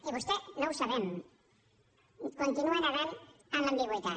i vostè no ho sabem continua nedant en l’ambigüitat